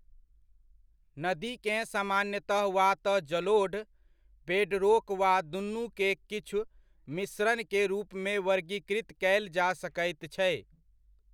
नदी केँ सामान्यतः वा तऽ जलोढ़, बेडरोक वा दूनु के किछु मिश्रण के रूपमे वर्गीकृत कयल जा सकैत छै।